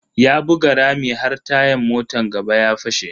Ya buga rami har tayan motan gaba ya fashe.